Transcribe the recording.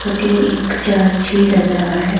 बटे एक चार छे लग रहा है।